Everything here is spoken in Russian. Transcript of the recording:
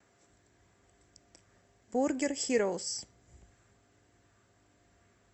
бургер хироус